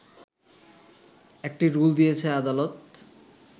একটি রুল দিয়েছে আদালত